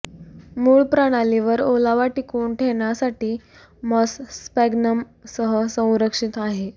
मूळ प्रणाली वर ओलावा टिकवून ठेवण्यासाठी मॉस स्फॅग्नम सह संरक्षित आहे